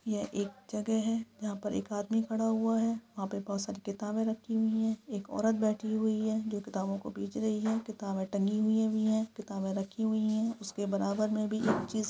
यह एक जगह है जहाँ पर एक आदमी खड़ा हुआ है वहाँ पे बहुत सारी किताबे रखी हुई है एक औरत बैठी हुई है जो किताबों को बेच रही है किताबे टंगी हुई भी है किताबे रखी हुई है उसके बराबर में भी एक चीज --